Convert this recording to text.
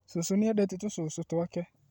Cũcũnĩendete tũcũcũtwake